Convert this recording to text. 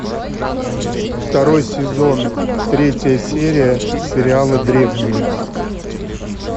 второй сезон третья серия сериала древние